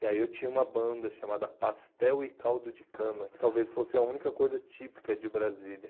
E aí eu tinha uma banda chamada Pastel e Caldo de Cana, que talvez fosse a única coisa típica de Brasília.